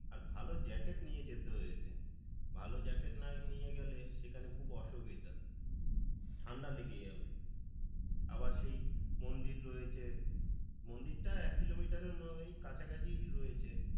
আর ভালো জ্যাকেট নিয়ে যেতে হয়েছে ভালো জ্যাকেট না নিয়ে গেলে সেখানে খুব অসুবিধা, ঠান্ডা লেগে যাবে আবার সেই মন্দির রয়েছে মন্দিরটা এক কিলোমিটারের ওই কাছাকাছি রয়েছে।